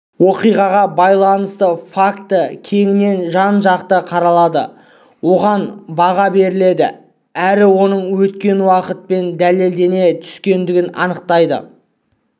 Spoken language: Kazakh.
оқиғаға байланысты факті кеңінен жан-жақты қаралады оған баға беріледі әрі оның өткен уақытпен дәлелдене түскендігі айтылады